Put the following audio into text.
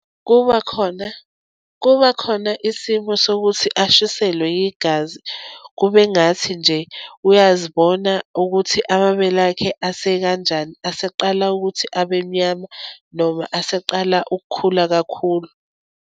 Kubakhona, kubakhona isimo sokuthi ashiselwe yigazi, kube ngathi nje uyazibona ukuthi amabele akhe ase kanjani, aseqala ukuthi abe mnyama, noma aseqala ukukhula kakhulu.